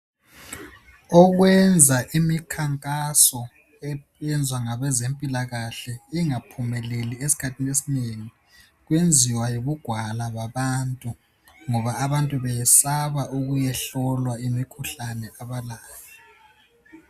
Okwenza imikhankaso eyenzwa ngabezempilakahle ingaphumeleli esikhathini esinengi kwenziwa yibugwala babantu ngoba abantu beyesaba ukuyehlolwa imikhuhlane abalayo.